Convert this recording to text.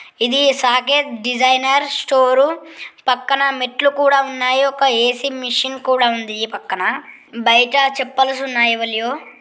ఇది Saket design store పక్కన మెట్లు కూడా ఉన్నాయి ఒక ఏ_సి మిషిన్ కూడా ఉంది ఈ పక్కన బయట చప్పాల్స్ ఉన్నాయి ఎవరియొ.